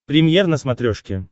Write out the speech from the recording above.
премьер на смотрешке